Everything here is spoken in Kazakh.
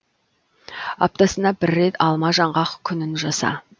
аптасына бір рет алма жаңғақ күнін жаса